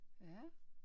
Ja